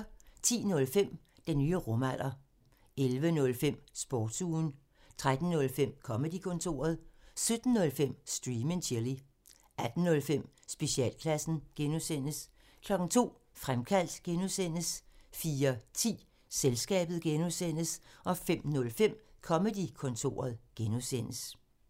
10:05: Den nye rumalder 11:05: Sportsugen 13:05: Comedy-kontoret 17:05: Stream and chill 18:05: Specialklassen (G) 02:00: Fremkaldt (G) 04:10: Selskabet (G) 05:05: Comedy-kontoret (G)